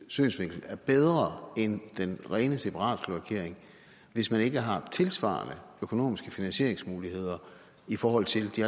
synsvinkel er bedre end den rene separatkloakering hvis man ikke har tilsvarende finansieringsmuligheder i forhold til de